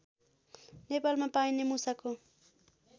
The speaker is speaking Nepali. नेपालमा पाइने मुसाको